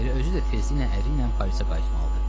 Elə özü də tezliklə əriylə Parisə qayıtmalıdır.